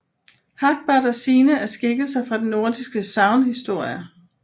Hagbard og Signe er skikkelser fra den nordiske sagnhistorie